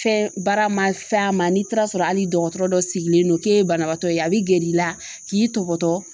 Fɛn baara ma f'a ma n'i taara sɔrɔ hali dɔgɔtɔrɔ dɔ sigilen don k'e ye banabaatɔ ye a bi gɛri la k'i tɔgɔtɔ